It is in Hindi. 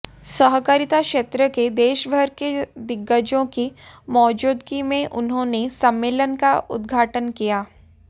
सहकारिता क्षेत्र के देशभर के दिग्गजों की मौजूदगी में उन्होंने सम्मेलन का उद्घाटन किया